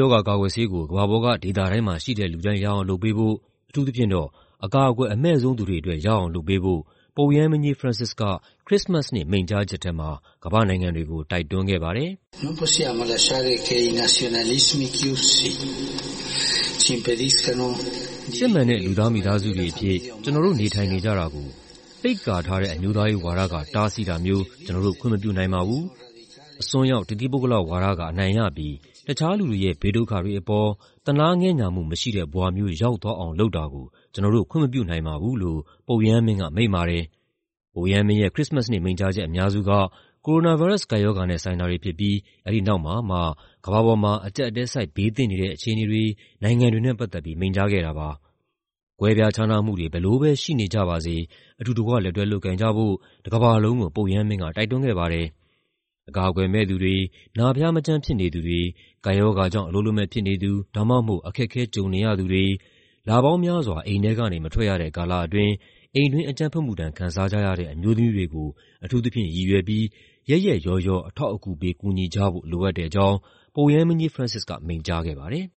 ရောဂါကာကွယ်ဆေးကို ကမ္ဘာပေါ်က ဒေသတိုင်းမှာရှိတဲ့ လူတိုင်း ရအောင်လုပ်ပေးဖို့၊ အထူးသဖြင့်တော့ အကာအကွယ်အမဲ့ဆုံး သူတွေအတွက် ရအောင်လုပ်ပေးဖို့ ပုပ်ရဟန်းမင်းကြီး Francis က ခရစ္စမတ်နေ့ မိန့်ကြားချက်ထဲမှာ ကမ္ဘာ့နိုင်ငံတွေကို တိုက်တွန်းခဲ့ပါတယ်။ "စစ်မှန်တဲ့ လူသားမိသားစုတွေအဖြစ် ကျနော်တို့ နေထိုင်ကြတာကို ပိတ်ကာထားတဲ့ အမျိုးသားရေးဝါဒက တားဆီးတာမျိုး ကျနော်တို့ ခွင့်မပြုနိုင်ပါဘူး။ အစွန်းရောက် တသီးပုဂ္ဂလဝါဒက အနိုင်ရပြီး တခြားလူတွေရဲ့ ဘေးဒုက္ခတွေအပေါ် သနားငဲ့ညှာမှုမရှိတဲ့ ဘဝမျိုး ရောက်သွားအောင် လုပ်တာကို ကျနော်တို့ ခွင့်မပြုနိုင်ပါဘူး" လို့ ပုပ်ရဟန်းမင်းက မိန့်ပါတယ်။ ပုပ်ရဟန်းမင်းရဲ့ ခရစ္စမတ်နေ့ မိန့်ကြားချက်အများစုက ကိုရိုနာဗိုင်းရပ်စ် ကပ်ရောဂါနဲ့ ဆိုင်တာတွေဖြစ်ပြီး အဲဒီနောက်မှာ ကမ္ဘာပေါ်မှာ အကျပ်အတည်းဆိုက် ဘေးသင့်နေတဲ့ အခြေအနေတွေ၊ နိုင်ငံတွေနဲ့ ပတ်သက်ပြီး မိန့်ကြားခဲ့တာပါ။ ကွဲပြားခြားနားမှုတွေ ဘယ်လိုပဲရှိနေကြပါစေ အတူတကွ လက်တွဲလုပ်ကိုင်ကြဖို့ တကမ္ဘာလုံးကို ပုပ်ရဟန်းမင်းက တိုက်တွန်းခဲ့ပါတယ်။ အကာအကွယ်မဲ့သူတွေ၊ နာဖျားမကျန်း ဖြစ်နေသူတွေ၊ ကပ်ရောဂါကြောင့် အလုပ်လက်မဲ့ဖြစ်နေသူ ဒါမှမဟုတ် အခက်အခဲ ကြုံနေရသူတွေ၊ လပေါင်းများစွာ အိမ်ထဲကနေ မထွက်ရတဲ့ ကာလအတွင်း အိမ်တွင်းအကြမ်းဖက်မှုဒဏ် ခံစားကြရတဲ့ အမျိုးသမီးတွေကို အထူးသဖြင့်ရည်ရွယ်ပြီး ရက်ရက်ရောရော အထောက်အကူပေး ကူညီကြဖို့ လိုအပ်တဲ့အကြောင်း ပုပ်ရဟန်းမင်းကြီး Francis က မိန့်ကြားခဲ့ပါတယ်။